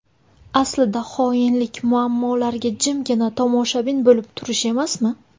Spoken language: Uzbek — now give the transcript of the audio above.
Aslida xoinlik muammolarga jimgina tomoshabin bo‘lib turish emasmi?!